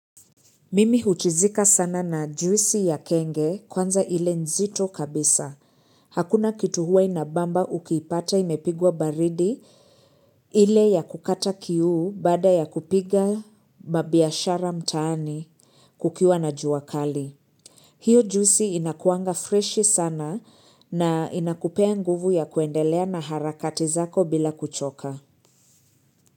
Mimi huchizika sana na juisi ya kenge kwanza ile nzito kabisa. Hakuna kitu huwa inabamba ukiipata imepigwa baridi. Ile ya kukata kiu baada ya kupiga mabiashara mtaani kukiwa na jua kali. Hio juisi inakuwanga freshi sana na inakupea nguvu ya kuendelea na harakati zako bila kuchoka.